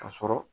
Ka sɔrɔ